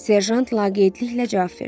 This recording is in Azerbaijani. Serjant laqeydliklə cavab verdi.